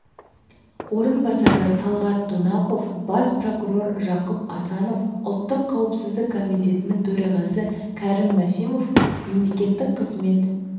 орынбасары талғат донақов бас прокурор жақып асанов ұлттық қауіпсіздік комитетінің төрағасы кәрім мәсімов мемлекеттік қызмет